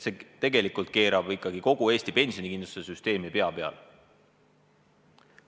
See tegelikult keerab ikkagi kogu Eesti pensionikindlustussüsteemi pea peale.